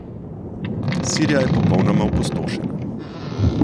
Sirija je popolnoma opustošena.